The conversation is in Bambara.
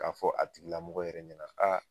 K'a fɔ a tigilamɔgɔ yɛrɛ ɲɛna